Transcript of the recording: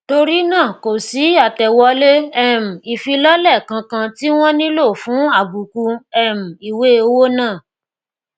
torí náà kò sí àtẹwọlé um ìfilọlẹ kànkan tí wón nílò fún àbùkù um ìwé owó náà